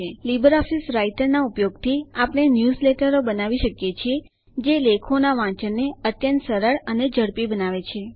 Libre Office રાઈટરનાં ઉપયોગથી આપણે ન્યૂઝલેટરો બનાવી શકીએ છીએ જે લેખોનાં વાંચનને અત્યંત સરળ અને ઝડપી બનાવે છે